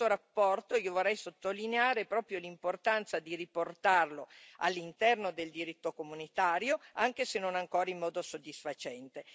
In questa relazione io vorrei sottolineare proprio l'importanza di riportarlo all'interno del diritto comunitario, anche se non ancora in modo soddisfacente.